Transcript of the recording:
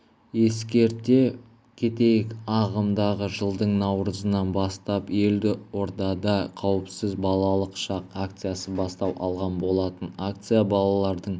ескерте кетейік ағымдағы жылдың наурызынан бастап елордада қауіпсіз балалық шақ акциясы бастау алған болатын акция балалардың